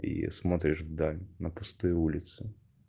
и смотришь вдаль на пустые улицы